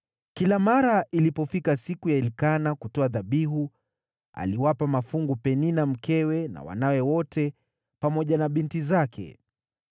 Kila mara ilipofika siku ya Elikana kutoa dhabihu, aliwapa mafungu Penina mkewe na wanawe wote pamoja na binti zake.